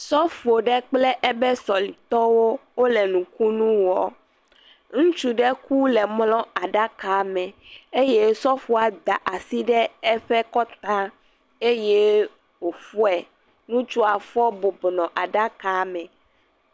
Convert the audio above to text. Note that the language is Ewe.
Sɔfo ɖe kple ebe sɔlitɔwo wole nukunu wɔɔ. Ŋutsu ɖe ku le mlɔɔ aɖakame eye Sɔfoa da asi ɖe eƒe kɔtaa eye wòfɔ̃e. Ŋutsua fɔ̃ bɔbɔ nɔ aɖakaa me.